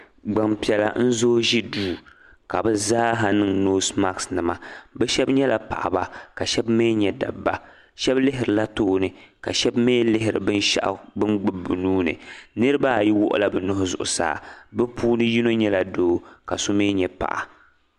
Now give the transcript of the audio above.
Gbampiɛla n-zooi ʒi duu ka bɛ zaaha niŋ noosi makisinima bɛ shɛba nyɛla paɣiba ka shɛba mi nyɛ dabba shɛba lihirila tooni ka shɛba mi lihiri binshɛɣu bɛ ni gbubi bɛ nuu ni niriba ayi wuɣila bɛ nuhi zuɣusaa bɛ puuni yino nyɛla doo ka so mi nyɛ paɣa.